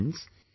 Friends,